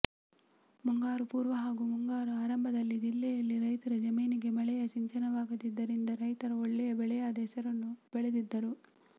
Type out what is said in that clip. ಮುಂಗಾರು ಪೂರ್ವ ಹಾಗೂ ಮುಂಗಾರ ಆರಂಭದಲ್ಲಿ ಜಿಲ್ಲೆಯಲ್ಲಿ ರೈತರ ಜಮೀನಿಗೆ ಮಳೆಯ ಸಿಂಚನವಾಗಿದ್ದರಿಂದ ರೈತರು ಒಳ್ಳೆಯ ಬೆಳೆಯಾದ ಹೆಸರನ್ನು ಬೆಳೆದಿದ್ದರು